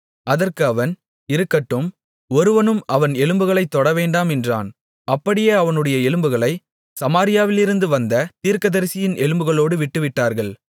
அதற்கு அவன் இருக்கட்டும் ஒருவனும் அவன் எலும்புகளைத் தொடவேண்டாம் என்றான் அப்படியே அவனுடைய எலும்புகளைச் சமாரியாவிலிருந்து வந்த தீர்க்கதரிசியின் எலும்புகளோடு விட்டுவிட்டார்கள்